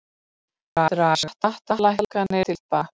Draga skattalækkanir til baka